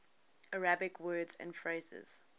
arabic words and phrases